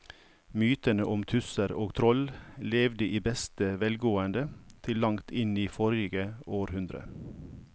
Mytene om tusser og troll levde i beste velgående til langt inn i forrige århundre.